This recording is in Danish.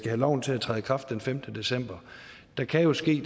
have loven til at træde i kraft den femtende december der kan jo ske